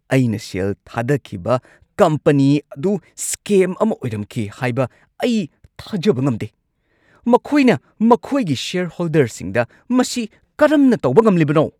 ꯑꯩꯅ ꯁꯦꯜ ꯊꯥꯗꯈꯤꯕ ꯀꯝꯄꯅꯤ ꯑꯗꯨ ꯁ꯭ꯀꯦꯝ ꯑꯃ ꯑꯣꯏꯔꯝꯈꯤ ꯍꯥꯏꯕ ꯑꯩ ꯊꯥꯖꯕ ꯉꯝꯗꯦ꯫ ꯃꯈꯣꯏꯅ ꯃꯈꯣꯏꯒꯤ ꯁꯦꯌꯔꯍꯣꯜꯗꯔꯁꯤꯡꯗ ꯃꯁꯤ ꯀꯔꯝꯅ ꯇꯧꯕ ꯉꯝꯂꯤꯕꯅꯣ?